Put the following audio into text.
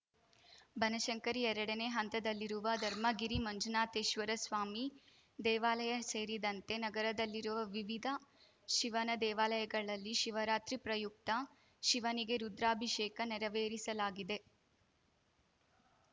ಬನಶಂಕರಿ ಎರಡನೇ ಹಂತದಲ್ಲಿರುವ ಧರ್ಮಗಿರಿ ಮಂಜುನಾಥೇಶ್ವರ ಸ್ವಾಮಿ ದೇವಾಲಯ ಸೇರಿದಂತೆ ನಗರದಲ್ಲಿರುವ ವಿವಿಧ ಶಿವನ ದೇವಾಲಯಗಳಲ್ಲಿ ಶಿವರಾತ್ರಿ ಪ್ರಯುಕ್ತ ಶಿವನಿಗೆ ರುದ್ರಾಭಿಷೇಕ ನೆರವೇರಿಸಲಾಗಿದೆ